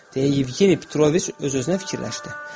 deyə Yevgeni Petroviç öz-özünə fikirləşdi.